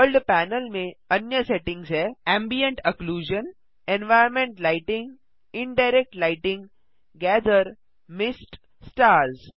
world panel में अन्य settings हैं ambient occlusion environment lighting indirect lighting gather mist stars